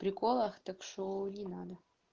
приколов так что не надо